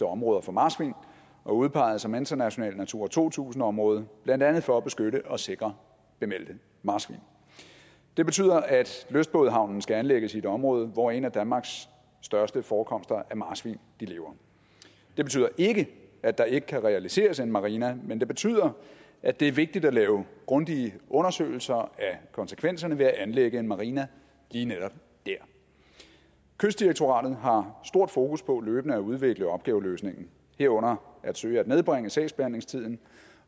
områder for marsvin og udpeget som internationalt natura to tusind område blandt andet for at beskytte og sikre bemeldte marsvin det betyder at lystbådehavnen skal anlægges i et område hvor en af danmarks største forekomster af marsvin lever det betyder ikke at der ikke kan realiseres en marina men det betyder at det er vigtigt at lave grundige undersøgelser af konsekvenserne ved at anlægge en marina lige netop der kystdirektoratet har stort fokus på løbende at udvælge opgaveløsningen herunder at søge at nedbringe sagsbehandlingstiden